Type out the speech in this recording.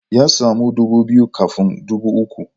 Ya samu dubu biyu kafin dubu uku.